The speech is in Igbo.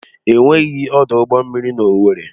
Enweghị ọdụ ụgbọ mmiri na owerri.